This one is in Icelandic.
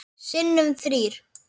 Sinnum þrír.